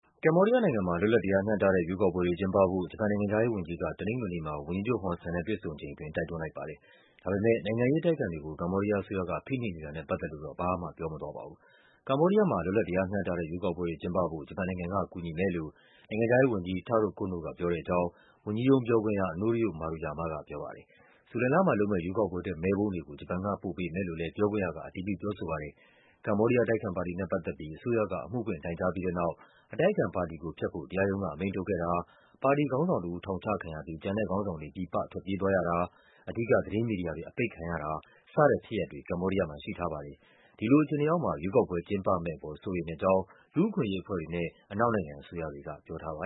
ကမ္ဘောဒီးယားနိုင်ငံမှာ လွတ်လပ် တရားမျှတတဲ့ ရွေးကောက်ပွဲတွေ ကျင်းပဖို့ ဂျပန်နိုင်ငံခြားရေးဝန်ကြီးက တနင်္ဂနွေနေ့မှာ ဝန်ကြီးချုပ် ဟွန်ဆန်နဲ့ တွေ့ဆုံချိန်အတွင်း တိုက်တွန်းလိုက်ပါတယ်။ ဒါပေမဲ့ နိုင်ငံရေးအတိုက်အခံတွေကို ကမ္ဘောဒီးယားအစိုးရက ဖိနှိပ်နေတာနဲ့ ပတ်သက်လို့တော့ ဘာမှပြောမသွားပါဘူး။ ကမ္ဘောဒီးယားမှာ လွတ်လပ် တရားမျှတတဲ့ ရွေးကောက်ပွဲတွေကျင်းပဖို့ ဂျပန်နိုင်ငံက ကူညီမယ်လို့ နိုင်ငံခြားရေးဝန်ကြီး Taro Kono က ပြောတဲ့အကြောင်း ဝန်ကြီးရုံးပြောခွင့်ရ Norio Maruyama ကပြောပါတယ်။ ဇူလိုင်လမှာလုပ်မယ့် ရွေးကောက်ပွဲ အတွက် မဲပုံးတွေကို ဂျပန်က ပို့ပေးမယ်လို့လည်း ပြောခွင့်ရက အတည်ပြု ပြောဆိုပါတယ်။ ကမ္ဘောဒီးယား အတိုက်အခံပါတီနဲ့ပတ်သက်ပြီး အစိုးရက အမှုဖွင့် တိုင်ကြားပြီးတဲ့နောက် အတိုက်အခံပါတီကိုဖျက်ဖို့ တရားရုံးက အမိန့်ထုတ်ခဲ့တာ၊ ပါတီခေါင်းဆောင်တဦး ထောင်ချခံရပြီး ကျန်တဲ့ခေါင်းဆောင်တွေ ပြည်ပထွက်ပြေးသွားရတာ၊ အဓိက သတင်း မီဒီယာတွေ အပိတ်ခံရတာ စတဲ့ဖြစ်ရပ်တွေ ကမ္ဘောဒီးယားမှာရှိထားပါတယ်။ ဒီလိုအခြေအနေအောက်မှာ ရွေးကောက်ပွဲကျင်းပ မယ့်အပေါ် စိုးရိမ်တဲ့အကြောင်း လူ့အခွင့်အရေးအဖွဲ့တွေနဲ့ အနောက်နိုင်ငံအစိုးရတွေက ပြောထားတာပါ